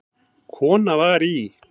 Kona var í